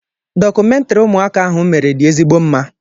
Dọkụmentrị ụmụaka ahụ mere dị ezigbo mma.